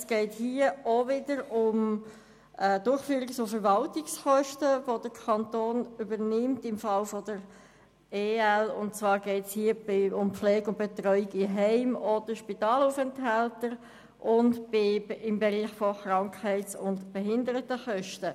Es geht auch hier wieder um Durchführungs- und Verwaltungskosten, die der Kanton im Fall der EL übernimmt, und zwar geht es um die Pflege und Betreuung in Heimen oder von Spitalaufenthaltern sowie den Bereich von Krankheits- und Behindertenkosten.